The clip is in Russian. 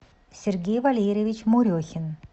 сергей валерьевич мурехин